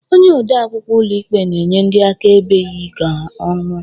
Onye ode akwụkwọ ụlọikpe na-enye ndị akaebe ịyị ka ñụọ